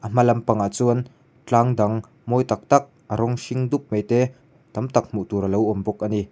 a hma lampang ah chuan tlang dang mawi tak tak a rawng hring dup mai te tam tak hmuh tur te alo awm bawk ani.